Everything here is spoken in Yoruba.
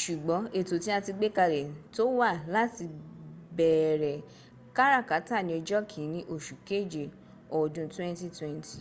ṣùgbọ́n ètò tí a ti gbé kalẹ̀ tó wa láti bẹ̀ẹ̀rẹ̀ káràkátà ní ọjọ́ kìíní oṣù kéje ọdún 2020”